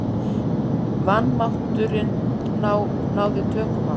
Vanmátturinn náði tökum á mér.